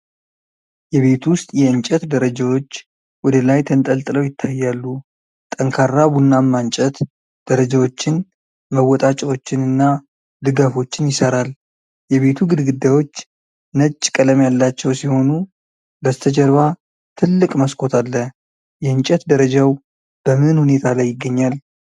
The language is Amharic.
የቤት ውስጥ የእንጨት ደረጃዎች ወደ ላይ ተንጠልጥለው ይታያሉ። ጠንካራ ቡናማ እንጨት ደረጃዎችን፣ መወጣጫዎችን እና ድጋፎችን ይሠራል። የቤቱ ግድግዳዎች ነጭ ቀለም ያላቸው ሲሆኑ በስተጀርባ ትልቅ መስኮት አለ። የእንጨት ደረጃው በምን ሁኔታ ላይ ይገኛል?